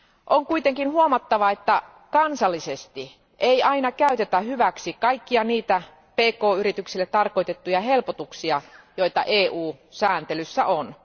On kuitenkin huomattava, että kansallisesti ei aina käytetä hyväksi kaikkia niitä pk yrityksille tarkoitettuja helpotuksia, joita EU sääntelyssä on.